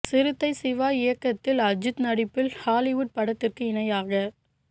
சிறுத்தை சிவா இயக்கத்தில் அஜித் நடிப்பில் ஹாலிவுட் படத்திற்கு இணையாக